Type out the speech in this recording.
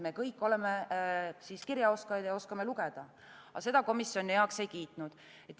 Me kõik oleme kirjaoskajad ja oskame lugeda, aga seda komisjon heaks ei kiitnud.